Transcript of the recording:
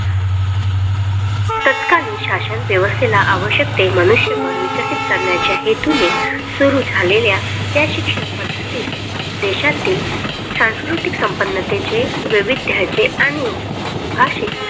तत्कालीन शासन व्यवस्थेला आवश्यक ते मनुष्यबळ विकसित करण्याच्या हेतूने सुरू झालेल्या त्या शिक्षण पद्धतीत देशातील सांस्कृतिक संपन्नतेचे वैविध्याचे आणि भाषिक